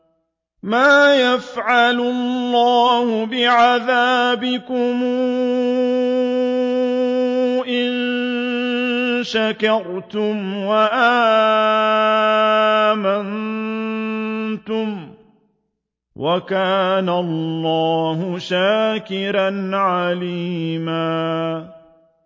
مَّا يَفْعَلُ اللَّهُ بِعَذَابِكُمْ إِن شَكَرْتُمْ وَآمَنتُمْ ۚ وَكَانَ اللَّهُ شَاكِرًا عَلِيمًا